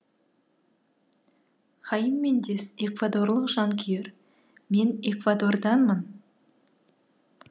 хаим мендес эквадорлық жанкүйер мен эквадорданмын